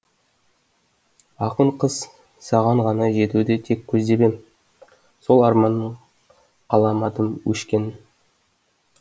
ақын қыз саған ғана жетуді тек көздеп ем сол арманның қаламадым өшкенін